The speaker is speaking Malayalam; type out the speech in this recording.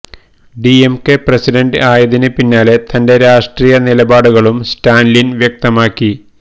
ഡിഎംകെ പ്രസിഡന്റ് ആയതിന് പിന്നാലെ തന്റെ രാഷ്ട്രീയ നിലപാടുകളും സ്റ്റാലിന് വ്യക്തമാക്കി